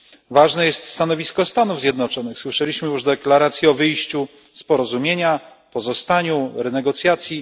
Ważne jest stanowisko Stanów Zjednoczonych, słyszeliśmy już deklaracje o wyjściu z porozumienia, pozostaniu, renegocjacji.